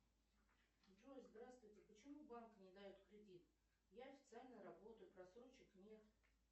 джой здравствуйте почему банк не дает кредит я официально работаю просрочек нет